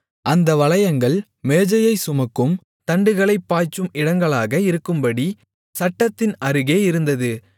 அந்த வளையங்கள் மேஜையைச் சுமக்கும் தண்டுகளைப் பாய்ச்சும் இடங்களாக இருக்கும்படி சட்டத்தின் அருகே இருந்தது